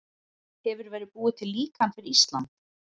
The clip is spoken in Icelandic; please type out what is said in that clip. Hefur verið búið til líkan fyrir Ísland?